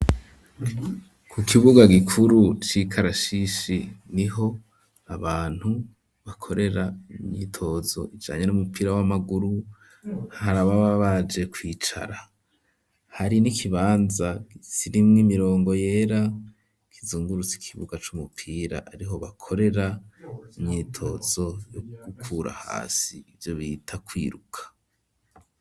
Ku kibuga gikuru c'ikarasisi niho abantu bakorera imyitozo ijanye n'umupira w'amaguru harababa baje kwicara hari n'ikibanza kirimwo imirongo yera kizungurutse ikibuga c'umupira ariho bakorera imyitozo yo gukura hasi ivyobita kwiruka.